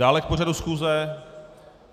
Dále k pořadu schůze?